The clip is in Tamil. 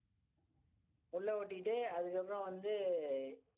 உள்ள ஒட்டிட்டு அதுக்கப்புறம் வந்து